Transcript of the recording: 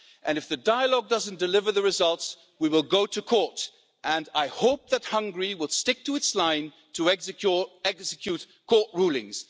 If the dialogue doesn't deliver the results, we will go to court, and I hope that Hungary will stick to its line to execute court rulings.